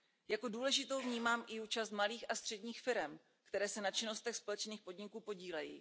Jako důležitou vnímám i účast malých a středních firem, které se na činnostech společných podniků podílejí.